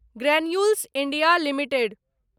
granules India limited